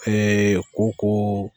koko.